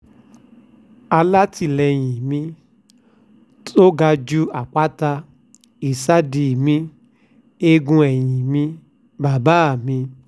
ohun tó kò sábẹ́ um fídíò ọ̀hún nìyí mo padà sílé láti lọ́ọ́ gbé àmì-ẹ̀yẹ ọ̀hún fún bàbá um mi